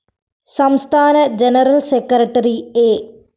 സംസ്ഥാന general secretary A